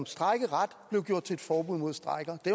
strejkeret blev gjort til et forbud mod strejker det